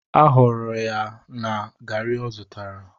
Aghọgburu ya na garri o zutara.